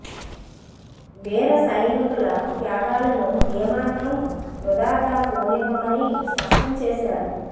వీర సైనికుల త్యాగాలను ఏ మాత్రం వృథాగా పోనివ్వమని స్పష్టం చేశారు